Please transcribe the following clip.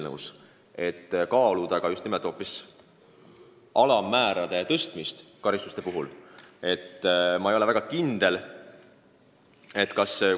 Nii et tõesti võiks kaaluda ka karistuste alammäärade tõstmist.